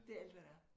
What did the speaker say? Det alt hvad der er